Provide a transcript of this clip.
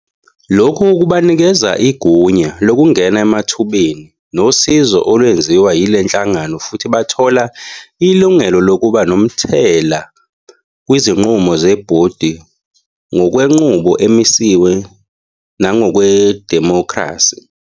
Lokhu kubanikeza igunya lokungena emathubeni nosizo olwenziwa yile nhlangano futhi bathola ilungelo lokuba nomthela kwizinqumo zebhodi ngokwenqubo emisiwe nangokwedemokhrasi